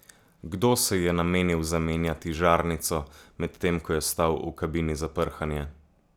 Kdo se je namenil zamenjati žarnico, medtem ko je stal v kabini za prhanje?